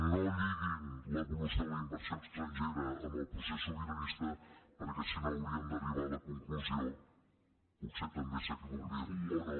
no lli·guin l’evolució de la inversió estrangera amb el procés sobiranista perquè si no hauríem d’arribar a la con·clusió potser també s’equivocarien o no